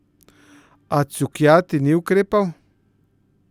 A Cukjati ni ukrepal.